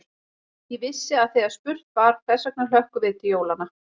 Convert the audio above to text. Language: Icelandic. Ég vissi að þegar spurt var: hvers vegna hlökkum við til jólanna?